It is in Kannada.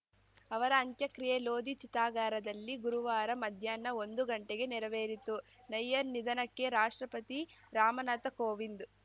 ಅವರ ಅಂತ್ಯಕ್ರಿಯೆ ಲೋಧಿ ಚಿತಾಗಾರದಲ್ಲಿ ಗುರುವಾರ ಮಧ್ಯಾಹ್ನ ಒಂದು ಗಂಟೆಗೆ ನೆರವೇರಿತು ನಯ್ಯರ್‌ ನಿಧನಕ್ಕೆ ರಾಷ್ಟ್ರಪತಿ ರಾಮನಾಥ ಕೋವಿಂದ್‌